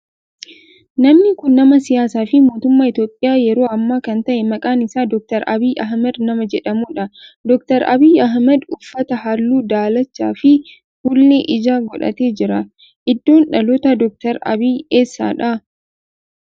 namni kun nama siyaasaa fi mootummaa Itiyoophiyaa yeroo ammaa kan ta'e maqaan isaa Dr. Abiyyi Ahimeed nama jedhamudha. Dr. Abiyyi Ahimeed uffata halluu daalacha fi fuullee ijaa godhatee jira. Iddoon dhalootaa Dr. Abiyi eessadha?